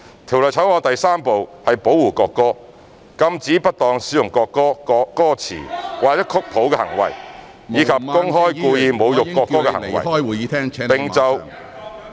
《條例草案》第3部是"保護國歌"，禁止不當使用國歌、歌詞或曲譜的行為，以及公開故意侮辱國歌的行為......